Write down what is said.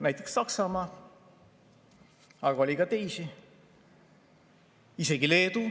Näiteks Saksamaa, aga oli ka teisi, isegi Leedu.